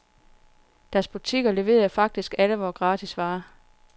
Deres butikker leverede faktisk alle vore gratisvarer.